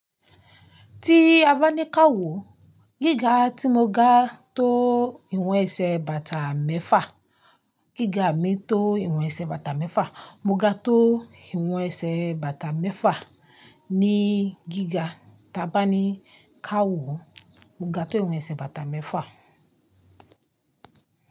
Tí a bá ní ká wò, gíga tí mo ga tó ìwọ̀n ẹsẹ̀ bàtà mẹ́fà, gíga mi tó ìwọ̀n ẹsẹ̀ bàtà mẹ́fà, mo ga tó ìwọ̀n ẹsẹ̀ bàtà mẹ́fà. Ní gíga tí a bá ní ká wò, mo ga tó ìwọ̀n ẹsẹ̀ bàtà mẹ́fà.